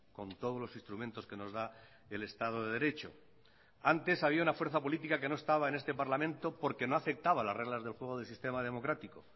con todos los instrumentos que nos da el estado de derecho antes había una fuerza política que no estaba en este parlamento porque no aceptaba las reglas del juego del sistema democrático